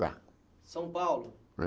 São Paulo?